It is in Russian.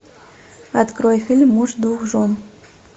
открой фильм муж двух жен